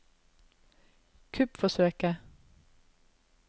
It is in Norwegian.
kuppforsøket